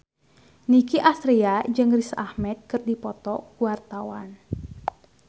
Nicky Astria jeung Riz Ahmed keur dipoto ku wartawan